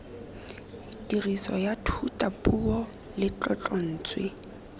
tiriso ya thutapuo le tlotlontswe